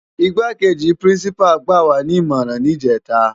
Igbákéji Pirinsipá gbáwá ni imòrán nijètá